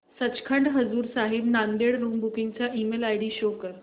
Sachkhand Hazur Sahib Nanded room booking चा email ID show कर